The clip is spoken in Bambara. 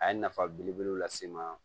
A ye nafa belebele lase n ma